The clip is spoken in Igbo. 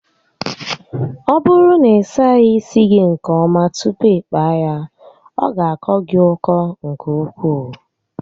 Ọ bụrụ na ị saghị isi gị nke ọma tupu ịkpaa ya, ọ ga akọ gị ọkọ nke ukwuu